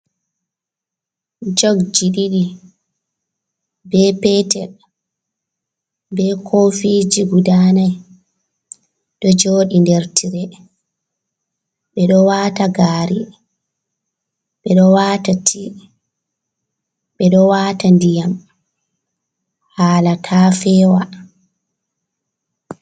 Jug ji ɗiɗi, be petel be kofi ji guda nai ɗo joɗi nder tire. Ɓe ɗo wata gaari, ɓe ɗo wata ndiyam hala ta feewa.